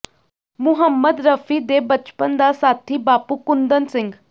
ਮੁਹੰਮਦ ਰਫ਼ੀ ਦੇ ਬਚਪਨ ਦਾ ਸਾਥੀ ਬਾਪੂ ਕੁੰਦਨ ਸਿੰਘ